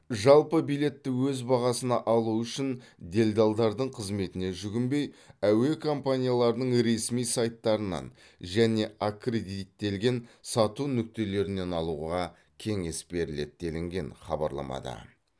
жалпы билетті өз бағасына алу үшін делдалдардың қызметіне жүгінбей әуе компанияларының ресми сайттарынан және аккредиттелген сату нүктелерінен алуға кеңес беріледі делінген хабарламада